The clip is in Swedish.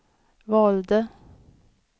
valde